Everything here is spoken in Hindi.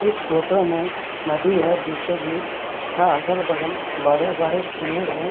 इस फोटो में नदी है बीचों-बीच तथा अगल-बगल बड़े-बड़े पेड़ हैं।